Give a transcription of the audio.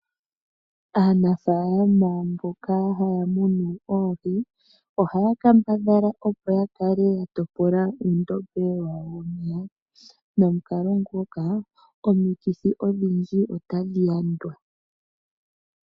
Aanafalama mboka haya munu oohi ohaya kambadhala opo ya kale ya topola uundombe wawo womeya nomukalo nguka omikithi odhindji otadhi yandwa.